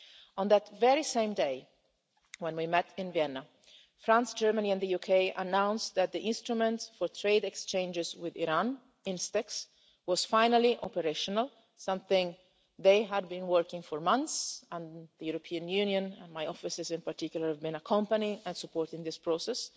On that very same day when we met in Vienna, France, Germany and the UK announced that the Instrument in Support of Trade Exchanges with Iran was finally operational, something they had been working on for months, and the European Union and my offices in particular, have been accompanying and supporting this process.